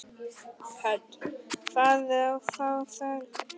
Hödd: Hvað þá helst?